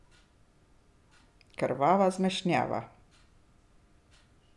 Krvava zmešnjava.